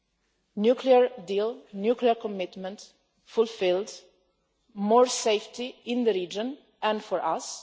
The nuclear deal, the nuclear commitment, fulfils more safety in the region and for us.